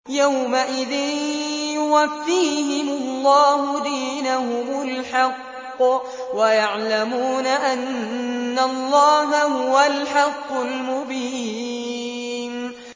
يَوْمَئِذٍ يُوَفِّيهِمُ اللَّهُ دِينَهُمُ الْحَقَّ وَيَعْلَمُونَ أَنَّ اللَّهَ هُوَ الْحَقُّ الْمُبِينُ